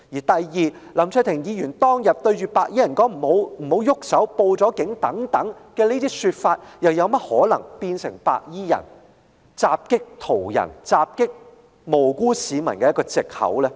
第二，林卓廷議員當天對白衣人所說的"不要動手"和"已經報警"等，又怎麼可能成為白衣人襲擊途人及無辜市民的藉口呢？